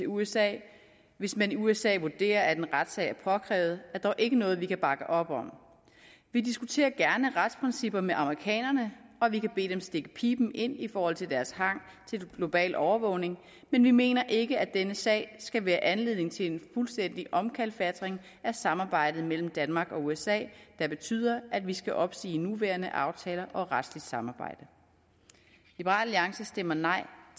usa hvis man i usa vurderer at en retssag er påkrævet er dog ikke noget vi kan bakke op om vi diskuterer gerne retsprincipper med amerikanerne og vi kan bede dem stikke piben ind i forhold til deres hang til global overvågning men vi mener ikke at denne sag skal være anledning til en fuldstændig omkalfatring af samarbejdet mellem danmark og usa der betyder at vi skal opsige nuværende aftaler om retsligt samarbejde liberal alliance stemmer nej